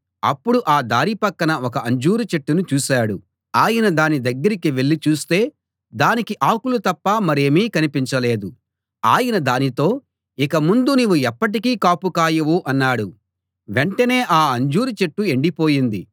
అప్పుడు ఆ దారి పక్కన ఒక అంజూరు చెట్టును చూశాడు ఆయన దాని దగ్గరికి వెళ్ళి చూస్తే దానికి ఆకులు తప్ప మరేమీ కనిపించలేదు ఆయన దానితో ఇక ముందు నీవు ఎప్పటికీ కాపు కాయవు అన్నాడు వెంటనే ఆ అంజూరు చెట్టు ఎండిపోయింది